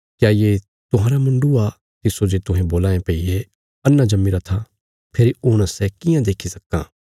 क्या ये तुहांरा मुण्डु आ तिस्सो जे तुहें बोलां ये भई ये अन्हा जम्मीरा था फेरी हुण सै कियां देक्खी सक्कां